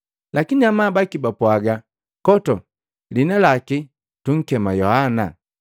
Lakine amabaki bapwaga, “Koto! Lihina laki tunkema Yohana!”